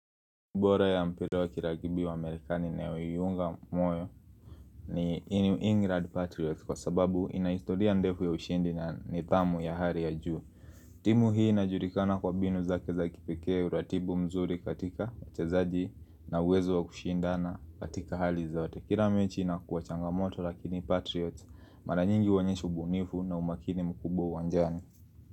Bora ya mpira wa kilakibi wa Amerikani na uyuunga moyo ni Inu Ingrid Patriots kwa sababu ina historia ndefu ya ushindi na nithamu ya hari ya juu. Timu hii inajulikana kwa mbinu zake za kipekee uratibu mzuri katika wachezaji na uwezo wa kushindana katika hali za ote. Kila mechi inakuwa changa moto lakini Patriots mara nyingi huonyesha ubunifu na umakini mkubwa uwanjani.